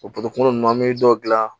O ninnu an bɛ dɔ dilan